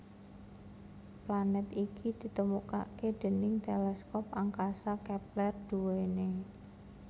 Planet iki ditemukaké déning teleskop angkasa Kepler duwené